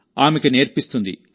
ఆమెకు నేర్పిస్తుంది